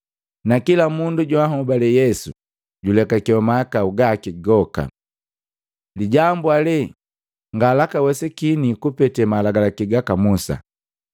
na kila mundu joanhobale Yesu julekakewa mahakau gaki goka, lijambu ale ngalaka wesikini kupete malagalaki gaka Musa.